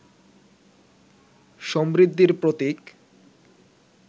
সমৃদ্ধির প্রতীক